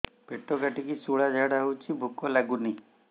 ପେଟ କାଟିକି ଶୂଳା ଝାଡ଼ା ହଉଚି ଭୁକ ଲାଗୁନି